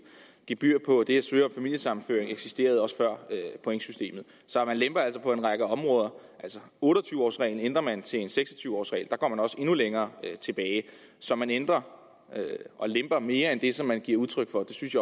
gebyr på det at søge om familiesammenføring eksisterede også før pointsystemet så man lemper altså på en række områder otte og tyve års reglen ændrer man til en seks og tyve års regel der går man også endnu længere tilbage så man ændrer og lemper mere end det som man giver udtryk for og det synes